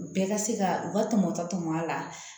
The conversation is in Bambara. Bɛɛ ka se ka u ka tɔmɔtɔ tɔmɔ a la